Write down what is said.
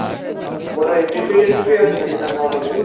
কোন Entry Fee আছে নাকি? না Normal ?